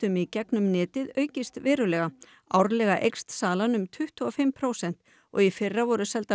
í gegnum netið aukist verulega árlega eykst salan um tuttugu og fimm prósent og í fyrra voru seldar